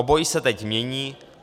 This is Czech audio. Obojí se teď mění.